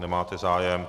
Nemáte zájem.